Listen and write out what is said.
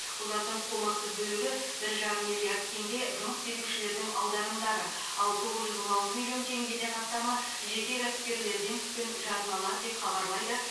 олардың қомақты бөлігі бір жарым миллиард теңге жұмыс берушілердің аударымдары ал тоғыз жүз он алты миллион теңгеден астамы жеке кәсіпкерлерден түскен жарналар деп хабарлайды